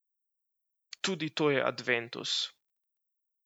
Tudi to je adventus.